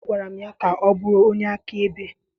Agwara m ya ka ọ bụrụ onye akaebe!